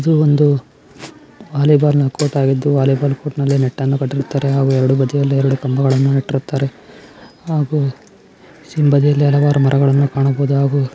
ಇದು ಒಂದು volleyball court ಆಗಿದ್ದು ವಾಲಿಬಾಲ್ ಈ ಕೋರ್ಟ್ ಅಲ್ಲಿ ನೆಟ್ಟ { ನ್ನು ಕಟ್ಟಿರುತ್ತಾರೆ ಎರಡು ಬದಿಯಲ್ಲಿ ಎರಡು ಕಂಬಾಣಟ್ಟಿರುತ್ತಾರೆ ಹಾಗೂ ಇಲ್ಲಿ ಹಲವಾರು ಮರಗಳನ್ನು ಕಾಣಬಹುದು ಹಾಗೂ --}